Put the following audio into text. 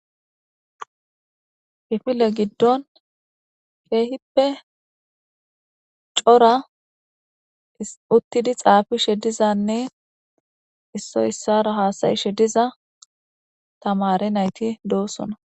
Hifile giddon keehippe cora uttidi xaafishe dizanne issoy issara haasayishe diza tamare nayti doosona.